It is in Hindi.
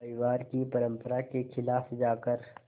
परिवार की परंपरा के ख़िलाफ़ जाकर